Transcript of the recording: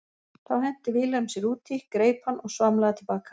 Þá henti Vilhelm sér út í, greip hann og svamlaði til baka.